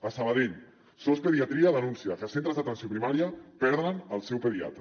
a sabadell sos pediatria denuncia que centres d’atenció primària perden el seu pediatre